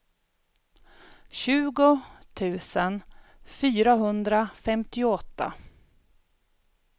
tjugo tusen fyrahundrafemtioåtta